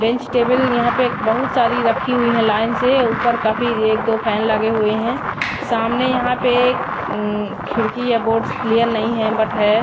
Bench table यहां पे बहुत सारी रखी हुई है लाइन से ऊपर काफी एक दो फैन लगे हुए हैं सामने यहां पे खिड़की या बोर्ड्स क्लियर नहीं है बट है।